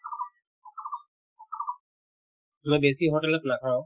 মই বেছি hotel ত নাখাওঁ